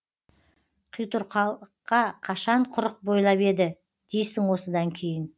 қитұрқылыққа қашан құрық бойлап еді дейсің осыдан кейін